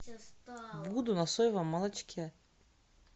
буду на соевом молочке